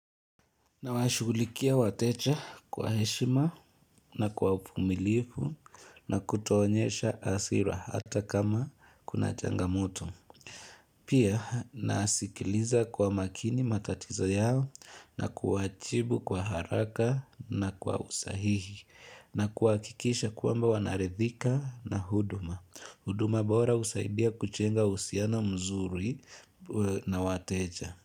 Nawashughulikia wateja kwa heshima na kwa uvumilivu na kutoonyesha hasira hata kama kuna changamoto. Pia nasikiliza kwa makini matatiza yao na kuwajibu kwa haraka na kwa usahihi na kuhakikisha kwamba wanaridhika na huduma. Huduma bora husaidia kujenga uhusiano mzuri na wateja.